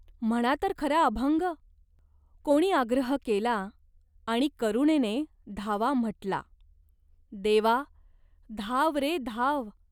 "म्हणा तर खरा अभंग !" कोणी आग्रह केला आणि करुणेने धावा म्हटला. "देवा, धाव रे धाव.